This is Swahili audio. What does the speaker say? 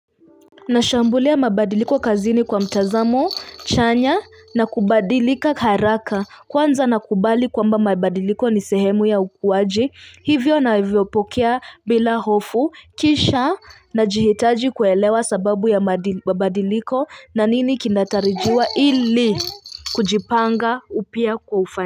Nashambulia mabadiliko kazini kwa mtazamo chanya na kubadilika haraka kwanza nakubali kwamba mabadiliko nisehemu ya ukuaji hivyo na vyo pokea bila hofu kisha na jihitaji kuelewa sababu ya mabadiliko na nini kinatarijiwa ili kujipanga upya kufanya.